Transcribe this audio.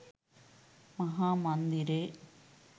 මහ මන්දිරේ